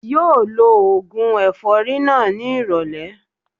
Yóò lo ògùn ẹ̀fọ́rí náà ní ìrọ̀lẹ́